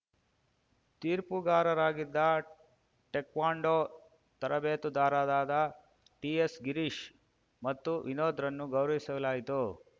ತೀರ್ಪುಗಾರರಾಗಿದ್ದ taekwondo ತರಬೇತುದಾರರಾದ ಟಿಎಸ್‌ಗಿರೀಶ್‌ ಮತ್ತು ವಿನೋದ್‌ರನ್ನು ಗೌರವಿಸಲಾಯಿತು